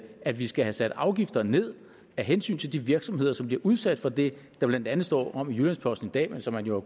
at vi skal have sat afgifter ned af hensyn til de virksomheder som bliver udsat for det der blandt andet står om i jyllands posten i dag og som man jo